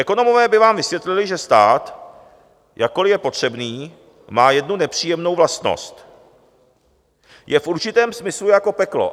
Ekonomové by vám vysvětlili, že stát, jakkoli je potřebný, má jednu nepříjemnou vlastnost: je v určitém smyslu jako peklo.